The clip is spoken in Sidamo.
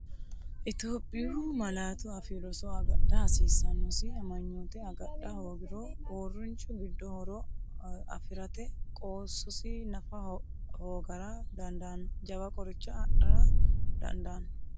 Itophiyu Malaatu Afii Roso agadha hasiissannosi amanyoote agadha hoogiro, uurrinshu giddo horo afi’rate qoossosi nafa hoogara dandaanno jawa qoricha adhara dandaan-.